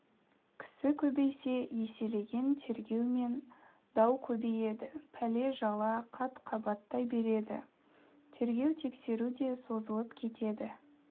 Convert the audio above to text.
кісі көбейсе еселеген тергеу мен дау көбейеді пәле-жала қат-қабаттай береді тергеу тексеру де созылып кетеді